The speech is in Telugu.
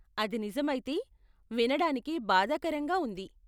అది నిజమైతే, వినడానికి బాధాకరంగా ఉంది.